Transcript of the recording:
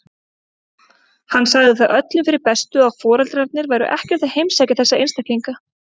Hann sagði það öllum fyrir bestu að foreldrarnir væru ekkert að heimsækja þessa einstaklinga.